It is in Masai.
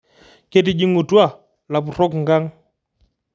Ketijingutua lapurok nkang